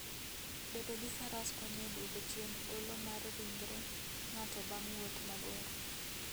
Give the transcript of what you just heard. Bedo gi Faras konyo e duoko chien olo mar ringre ng'ato bang' wuoth mabor.